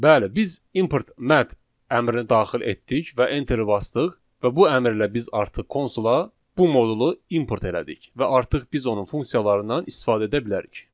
Bəli, biz `import mat` əmrini daxil etdik və enteri basdıq və bu əmrlə biz artıq konsula bu modulu import elədik və artıq biz onun funksiyalarından istifadə edə bilərik.